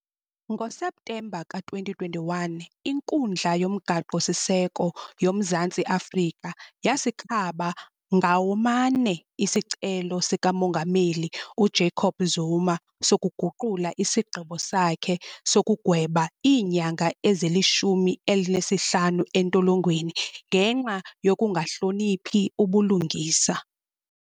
NgoSeptemba ka-2021, iNkundla yoMgaqo-siseko yoMzantsi Afrika yasikhaba ngaw 'omane isicelo sikaMongameli uJacob Zuma sokuguqula isigqibo sakhe sokugweba iinyanga ezili-15 entolongweni ngenxa yokungahloniphi ubulungisa.